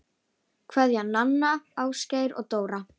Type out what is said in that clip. Kveðja, Nanna, Ásgeir og Dóra